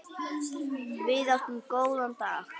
Þar áttum við góða daga.